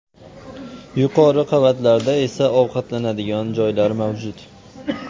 Yuqori qavatlarda esa ovqatlanadigan joylar mavjud.